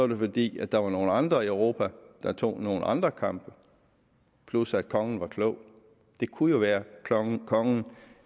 det fordi der var nogle andre i europa der tog nogle andre kampe plus at kongen var klog det kunne jo være at kongen